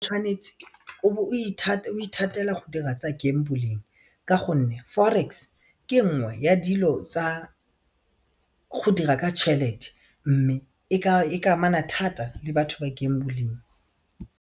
Tshwanetse o be o ithatela go dira tsa gambling ka gonne forex ke nngwe ya dilo tsa go dira ka tšhelete mme e ka amana thata le batho ba gambling.